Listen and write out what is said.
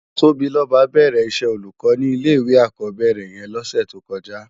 Tobiloba bèrè iṣè ólúkò ni ilé iwé ákòbèrè yèn lòsè tókòjá